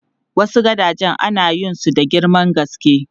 Wasu gadajen ana yin su da girman gaske.